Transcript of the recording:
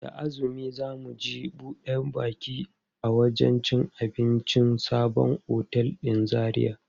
Da azumi za mu je buɗe baki a wajen cin abincin sabon otel ɗin Zaria.